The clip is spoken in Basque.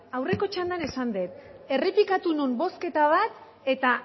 aurreko txandan esan dut errepikatu nuen bozketa bat eta